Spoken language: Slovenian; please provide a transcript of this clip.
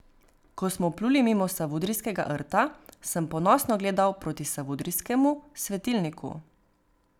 Ko smo pluli mimo Savudrijskega rta, sem ponosno gledal proti Savudrijskemu svetilniku.